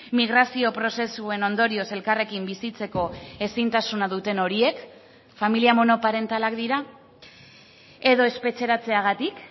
migrazio prozesuen ondorioz elkarrekin bizitzeko ezintasuna duten horiek familia monoparentalak dira edo espetxeratzeagatik